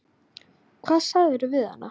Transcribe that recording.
Hvað sagðirðu við hana?